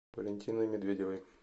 валентиной медведевой